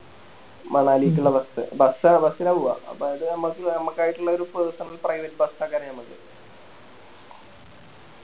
മണലേക്കിള്ള Bus ആ Bus നാ പൂവ അപ്പോ അത് ഞമ്മക്ക് ഞമ്മക്കായിറ്റിള്ളോര് Personal private bus ഒക്കെയാണ് ഞമ്മക്ക്